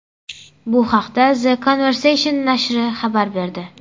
Bu haqda The Conversation nashri xabar berdi .